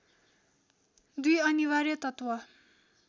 दुई अनिवार्य तत्त्व